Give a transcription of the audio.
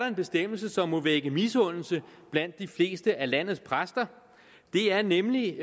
en bestemmelse som må vække misundelse blandt de fleste af landets præster det er nemlig